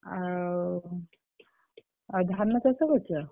ଆଉ ଧାନ ଚାଷ କରିଚ?